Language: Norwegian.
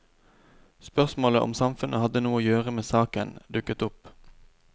Spørsmålet om samfunnet hadde noe å gjøre med saken, dukket opp.